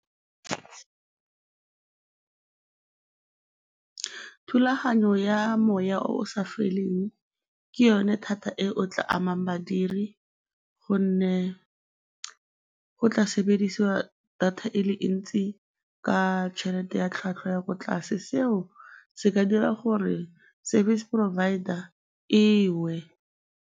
Thulaganyo ya moya o o sa feleng ke yone thata e o tla amang badiri gonne go tla sebediswa data e le ntsi ka tšhelete ya tlhwatlhwa ya ko tlase, seo se ka dira gore service provider e we.